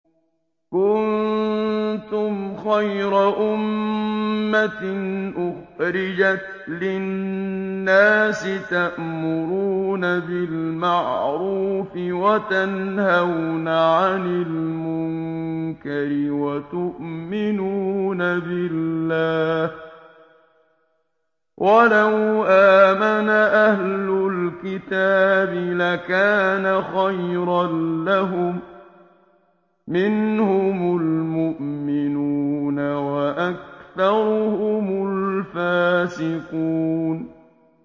كُنتُمْ خَيْرَ أُمَّةٍ أُخْرِجَتْ لِلنَّاسِ تَأْمُرُونَ بِالْمَعْرُوفِ وَتَنْهَوْنَ عَنِ الْمُنكَرِ وَتُؤْمِنُونَ بِاللَّهِ ۗ وَلَوْ آمَنَ أَهْلُ الْكِتَابِ لَكَانَ خَيْرًا لَّهُم ۚ مِّنْهُمُ الْمُؤْمِنُونَ وَأَكْثَرُهُمُ الْفَاسِقُونَ